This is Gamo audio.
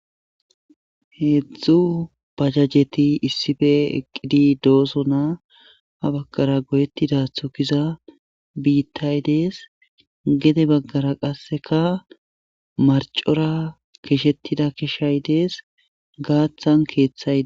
Heedzdzu pajajeti issife eqqidi dooso naa ha baggara goyettida thokiza biittay dees gede baggara qasseka marcora keshettida keshay dees gaathan keeththaye